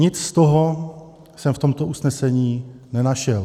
Nic z toho jsme v tomto usnesení nenašel.